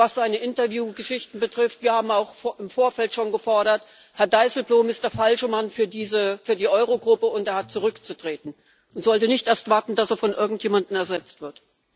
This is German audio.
Und was seine Interview Geschichten betrifft wir haben auch im Vorfeld schon gefordert Herr Dijsselbloem ist der falsche Mann für die Euro Gruppe, und er hat zurückzutreten und sollte nicht erst warten, dass er von irgendjemandem ersetzt wird.